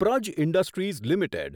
Praj industries limited